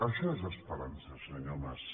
això és esperança senyor mas